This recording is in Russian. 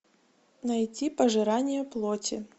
найти пожирание плоти